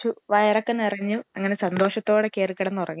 ആ ഉപ്പുമാവ് നല്ല രസമുണ്ടല്ലേ